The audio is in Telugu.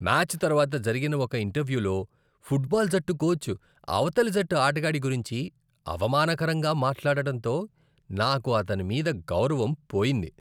మ్యాచ్ తర్వాత జరిగిన ఒక ఇంటర్వ్యూలో ఫుట్బాల్ జట్టు కోచ్ అవతలి జట్టు ఆటగాడి గురించి అవమానకరంగా మాట్లాడడంతో నాకు అతని మీద గౌరవం పోయింది.